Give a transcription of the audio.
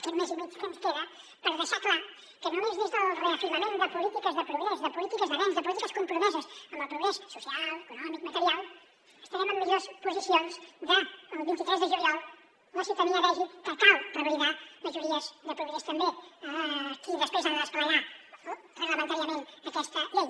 aquest mes i mig que ens queda per deixar clar que només des del reafirmament de polítiques de progrés de polítiques d’avenç de polítiques compromeses amb el progrés social econòmic material estarem en millors posicions el vint tres de juliol perquè la ciutadania vegi que cal revalidar majories de progrés també qui després ha de desplegar reglamentàriament aquesta llei